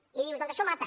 i dius doncs això mata